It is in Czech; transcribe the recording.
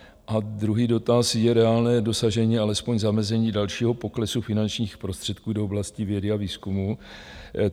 A druhý dotaz: Je reálné dosažení, alespoň zamezení dalšího poklesu finančních prostředků do oblasti vědy a výzkumu?